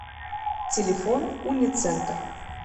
телефон уницентр